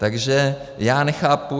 Takže já nechápu...